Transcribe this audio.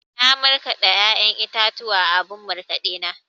Na markaɗa ya'yan itatuwa a abun markaɗe na.